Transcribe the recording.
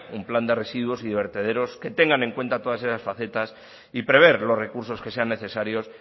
un plan de residuos y de vertederos que tengan en cuenta todas esas facetas y prever los recursos que sean necesarios